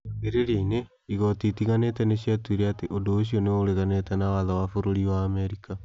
Kĩambĩrĩria-inĩ, igooti itiganĩte nĩ ciatuire atĩ ũndũ ũcio nĩ ũreganĩte na watho wa bũrũri wa Amerika.